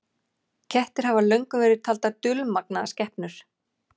Allir hnettir, stórir sem smáir, á sporbaug umhverfis sólina okkar eru hluti af sólkerfinu okkar.